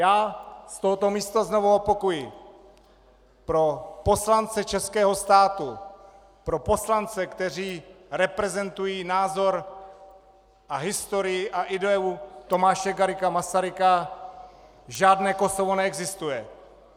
Já z tohoto místa znovu opakuji: Pro poslance českého státu, pro poslance, kteří reprezentují názor a historii a ideu Tomáše Garrigua Masaryka, žádné Kosovo neexistuje!